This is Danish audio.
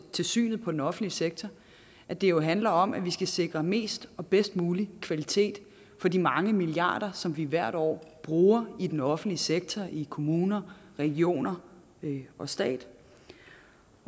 synet på den offentlige sektor at det jo handler om at vi skal sikre mest og bedst mulig kvalitet for de mange milliarder kroner som vi hvert år bruger i den offentlige sektor i kommunerne regionerne og staten